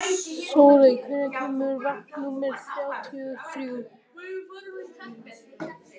Sóley, hvenær kemur vagn númer þrjátíu og þrjú?